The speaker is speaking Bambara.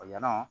O ɲɛna